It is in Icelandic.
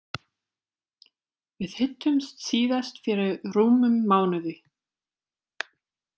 Við hittumst síðast fyrir rúmum mánuði.